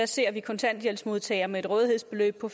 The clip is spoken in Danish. ser vi kontanthjælpsmodtagere med et rådighedsbeløb på